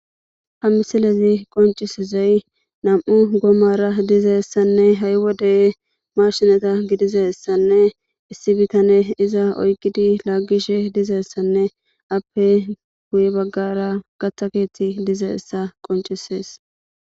Hha misilezi qoncisizey nam7u goomara dizeessanne ha7i wodey marshinata gidizessanne issi bitane iza oyqidi laaggishe dizeessanne appe guy baggara gathaketi dizessa qoncisees